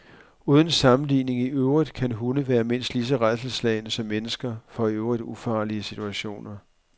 Uden sammenligning i øvrigt kan hunde være mindst lige så rædselsslagne som mennesker for i øvrigt ufarlige situationer.